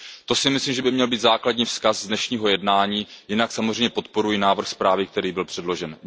To si myslím, že by měl být základní vzkaz z dnešního jednání, jinak samozřejmě podporuji návrh zprávy, který byl předložen.